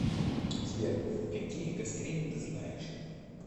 сбер какие гастрин ты знаешь